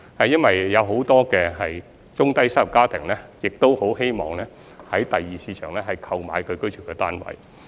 因為很多中低收入家庭很希望在第二市場購買居住單位。